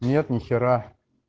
нет ни хера